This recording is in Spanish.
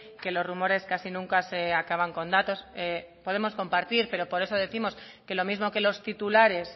que los rumores casi nunca se acaban con datos podemos compartir pero por eso décimos que lo mismo que los titulares